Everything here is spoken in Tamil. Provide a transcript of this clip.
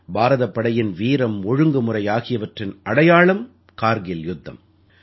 பாரதப் படையின் வீரம் ஒழுங்குமுறை ஆகியவற்றின் அடையாளம்கார்க்கில் யுத்தம்